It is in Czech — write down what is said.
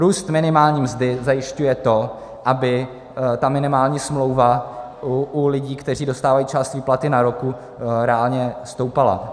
Růst minimální mzdy zajišťuje to, aby ta minimální smlouva u lidí, kteří dostávají část výplaty na ruku, reálně stoupala.